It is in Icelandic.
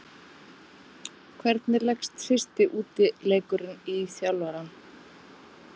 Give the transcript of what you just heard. Hvernig leggst fyrsti útileikurinn í þjálfarann?